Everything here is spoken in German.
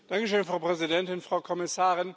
Frau Präsidentin, Frau Kommissarin!